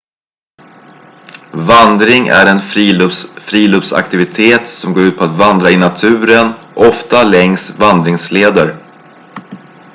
vandring är en friluftsaktivitet som går ut på att vandra i naturen ofta längs vandringsleder